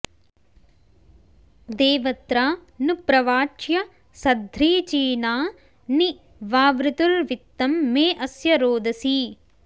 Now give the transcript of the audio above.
दे॒व॒त्रा नु प्र॒वाच्यं॑ सध्रीची॒ना नि वा॑वृतुर्वि॒त्तं मे॑ अ॒स्य रो॑दसी